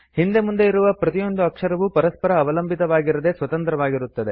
ಹಿಂದೆ ಮುಂದೆ ಇರುವ ಪ್ರತಿಯೊಂದು ಅಕ್ಷರವೂ ಪರಸ್ಪರ ಅವಲಂಬಿತವಾಗಿರದೇ ಸ್ವತಂತ್ರವಾಗಿರುತ್ತವೆ